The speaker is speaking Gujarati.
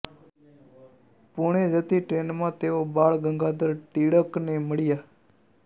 પૂણે જતી ટ્રેનમાં તેઓ બાલ ગંગાધર ટિળકને મળ્યા